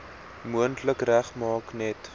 moontlik regmaak net